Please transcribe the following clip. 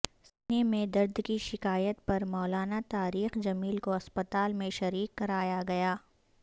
سینے میں درد کی شکایت پر مولانا طارق جمیل کو اسپتال میں شریک کرایاگیا